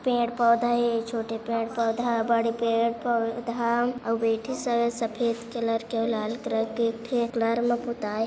पेड़-पौधा है छोटे पेड़-पौधा बड़े पेड़-पौधा और बेठे सब सफ़ेद कलर के लाल कलर के एथे कलर मा पोताय--